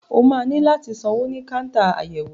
O máa ní láti sanwó ní káńtà àyẹ̀wò.